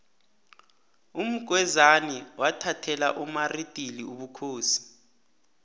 umgwezani wathathela umaridili ubukhosi